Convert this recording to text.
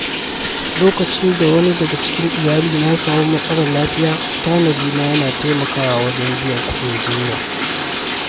Lokacin da wani daga cikin iyalina ya samu matsalar lafiya, tanadina ya taimaka wajen biyan kuɗin jinya.